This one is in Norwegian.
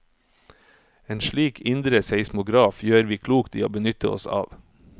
En slik indre seismograf gjør vi klokt i å benytte oss av.